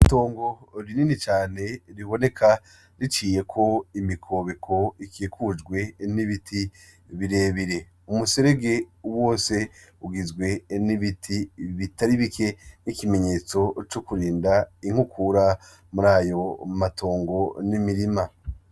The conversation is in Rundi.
Mtongo rinini cane riboneka riciye ko imikobeko ikikujwe nibiti birebire umuserege wose ugizwe enibiti ibitari bike n'ikimenyetso c'ukurinda inkukura muri ayo matongo n'imirima.